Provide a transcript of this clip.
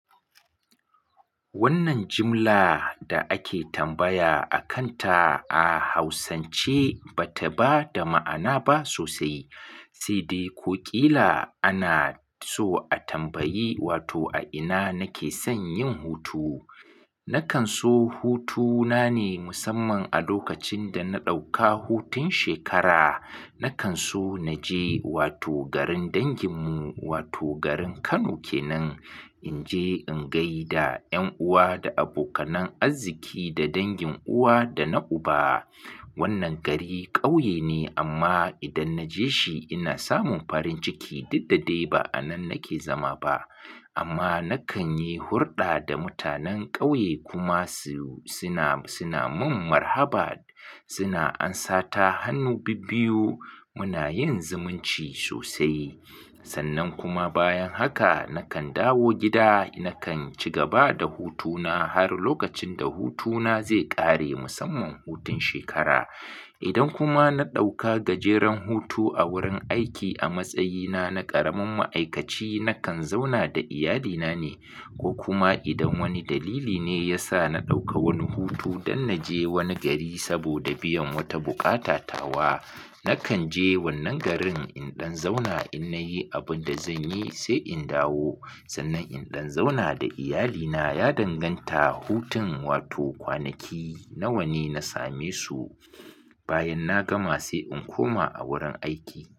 Wannan jimla da ake tambaya a kanta a Hausance ba ta ba da ma'ana ba sosai. Sai dai, ko ƙila ana so a tambayi, "Wato a ina nake son yin hutu?" Nakan so hutuna ne musamman a lokacin da na ɗauka hutun shekara. Nakan so na je wato garin danginmu wato garin Kano ke nan. In je in gai da ƴan uwa da abokanan arziki da dangin uwa da na uba. Wannan gari ƙauye ne amma idan na je shi ina samun farin ciki duk da dai ba a nan nake zama ba. Amma nakan yi hurɗa da mutanen ƙauye kuma su suna, suna mun marhaba, suna ansata hannu bibbiyu. Muna yin zumunci sosai. Sannan kuma bayan haka nakan dawo gida. Nakan ci gaba da hutuna har lokacin da hutuna zai ƙare musamman hutun shekara. Idan kuma na ɗauka gajeren hutu a wurin aiki a matsayina na ƙaramin ma'aikaci, nakan zauna da iyalina ne. Ko kuma idan wani dalili ne ya sa na ɗauka wani hutu don na je wani gari saboda biyan wata buƙatatawa, nakan je wannan garin in ɗan zauna in na yi abin da zan yi sai in dawo. Sannan in ɗan zauna da iyalina ya danganta hutun wato kwanaki nawa ne na same su bayan na gama sai in koma a wurin aiki.